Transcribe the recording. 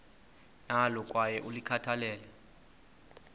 nalo kwaye ulikhathalele